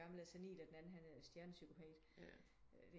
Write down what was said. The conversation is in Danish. Gammel og sernil og den anden han er stjernepsykopat